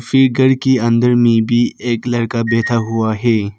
Figure के अंदर में भी एक लड़का बैठा हुआ है।